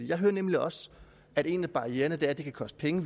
jeg hører nemlig også at en af barriererne er at det kan koste penge